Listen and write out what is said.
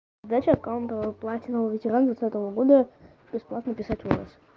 дать аккаунт платиновый ветеран двадцатого года бесплатно писать волос